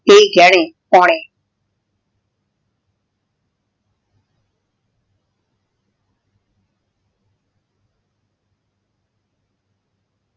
ਨਾਈ ਗੇਹ੍ਨਾਯ ਪੌਨੇ